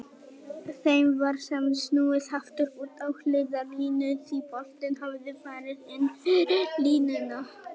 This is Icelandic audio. Þeim var samt snúið aftur út á hliðarlínu því boltinn hafði farið inn fyrir línuna.